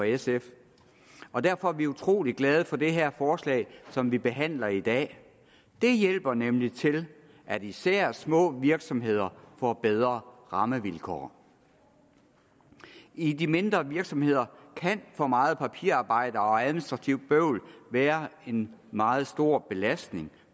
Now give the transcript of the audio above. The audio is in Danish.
sf og derfor er vi utrolig glade for det her forslag som vi behandler i dag det hjælper nemlig til at især små virksomheder får bedre rammevilkår i de mindre virksomheder kan for meget papirarbejde og administrativt bøvl være en meget stor belastning